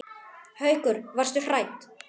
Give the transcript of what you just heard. Haukur: Varstu hrædd?